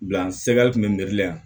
Bila sɛgɛrɛ tun bɛ n dili yan